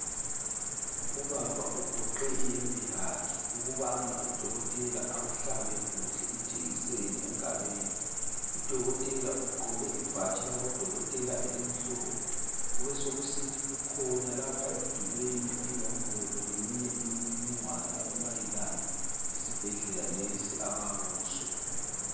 Ubaba ugoqe iyembe yakhe ukubana udokotela amhlabe kuhle ijekiseni engalweni. Udokotela ugqoke ibhatshi labodokotela elimhlophe kubesekusithi kukhona lapha emdulini inombolo leminye imininingwana emayelana lesibhedlela lesi abakuso.